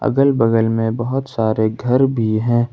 अगल बगल में बहोत सारे घर भी हैं।